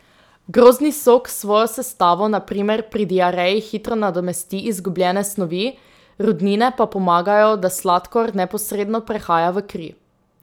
Grozdni sok s svojo sestavo na primer pri diareji hitro nadomesti izgubljene snovi, rudnine pa pomagajo, da sladkor neposredno prehaja v kri.